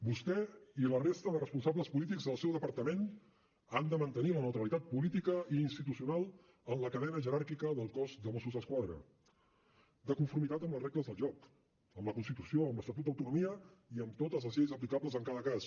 vostè i la resta de responsables polítics del seu departament han de mantenir la neutralitat política i institucional en la cadena jeràrquica del cos de mossos d’esquadra de conformitat amb les regles del joc amb la constitució amb l’estatut d’autonomia i amb totes les lleis aplicables en cada cas